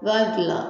I b'a gilan